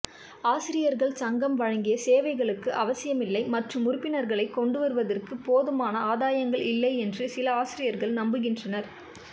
ஆசிரியர்கள் சங்கம் வழங்கிய சேவைகளுக்கு அவசியமில்லை மற்றும் உறுப்பினர்களைக் கொண்டுவருவதற்கு போதுமான ஆதாயங்கள் இல்லை என்று சில ஆசிரியர்கள் நம்புகின்றனர்